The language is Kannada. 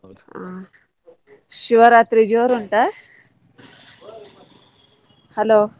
ಹಾ ಶಿವರಾತ್ರಿ ಜೋರು ಉಂಟಾ? hello .